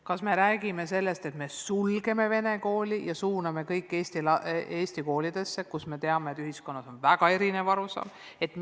Kas me räägime sellest, et me sulgeme vene kooli ja suuname kõik eesti koolidesse, samas kui me teame, et ühiskonnas on sellest teemast väga erinev arusaam?